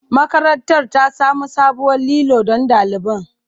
Makarantar ta samo sabuwar lilo don ɗaliban.